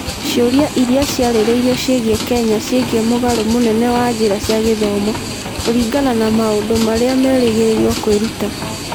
Ciũria iria ciarĩrĩirio ciĩgiĩ Kenya ciĩgiĩ mũgarũ mũnene wa njĩra cia gĩthomo kũringana na maũndũ marĩa merĩgĩrĩirũo kwĩruta.